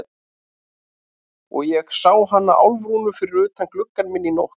Og ég sá hana Álfrúnu fyrir utan gluggann minn í nótt.